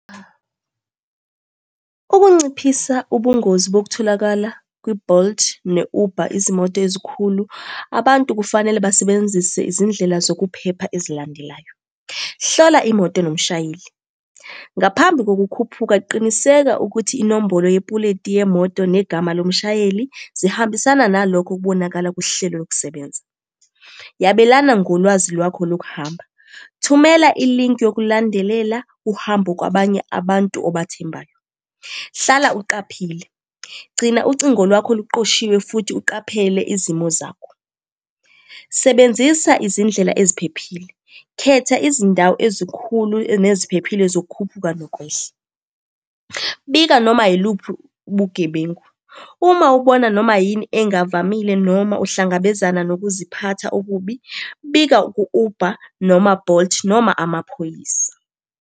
Ukunciphisa ubungozi bokutholakala kwi-Bolt ne-Uber, izimoto ezikhulu, abantu kufanele basebenzise izindlela zokuphepha ezilandelayo. Hlola imoto nomshayeli, ngaphambi kokukhuphuka qiniseka ukuthi inombolo yepuleti yemoto negama lomshayeli zihambisana nalokho okubonakala kuhlelo lokusebenza. Yabelana ngolwazi lwakho lokuhamba. Thumela ilinki yokulandelela uhambo kwabanye abantu obathembayo. Hlala uqaphile. Gcina ucingo lwakho luqoshiwe, futhi uqaphele izimo zakho. Sebenzisa izindlela eziphephile. Khetha izindawo ezikhulu neziphephile zokukhuphuka, nokwehla. Bika noma yiluphi ubugebengu. Uma ubona noma yini engavamile noma uhlangabezana nokuziphatha okubi, bika ku-Uber noma Bolt, noma amaphoyisa.